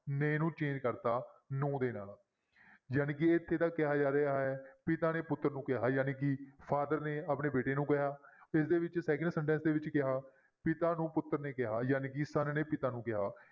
ਨੇ ਨੂੰ change ਕਰ ਦਿੱਤਾ ਨੂੰ ਦੇ ਨਾਲ ਜਾਣੀ ਕਿ ਇੱਥੇ ਤਾਂ ਕਿਹਾ ਜਾ ਰਿਹਾ ਹੈ ਪਿਤਾ ਨੇ ਪੁੱਤਰ ਨੂੰ ਕਿਹਾ ਜਾਣੀ ਕਿ father ਨੇ ਆਪਣੇ ਬੇਟੇ ਨੂੰ ਕਿਹਾ ਇਸਦੇ ਵਿੱਚ second sentence ਦੇ ਵਿੱਚ ਕਿਹਾ ਪਿਤਾ ਨੂੰ ਪੁੱਤਰ ਨੂੰ ਕਿਹਾ ਜਾਣੀ ਕਿ son ਨੇ ਪਿਤਾ ਨੂੰ ਕਿਹਾ।